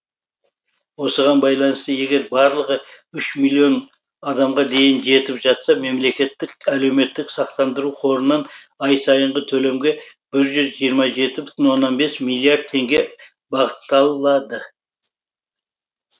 осыған байланысты егер барлығы үш миллион адамға дейін жетіп жатса мемлекеттік әлеуметтік сақтандыру қорынан ай сайынғы төлемге бір жүз жиырма жеті бүтін оннан бес миллиард теңге бағытталады